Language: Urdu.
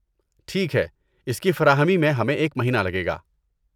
ٹھیک ہے، اس کی فراہمی میں ہمیں ایک مہینہ لگے گا۔